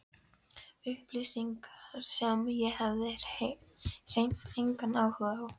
Fyrsti liðurinn í stefnuskrá félagsins varðar fræðslustarfsemi.